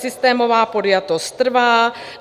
Systémová podjatost trvá.